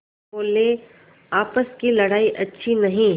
बोलेआपस की लड़ाई अच्छी नहीं